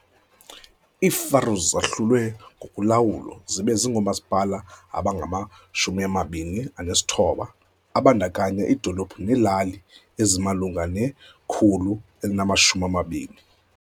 IiFaroes zahlulwe ngokolawulo zibe ngoomasipala abangama-29 ababandakanya iidolophu neelali ezimalunga ne-120.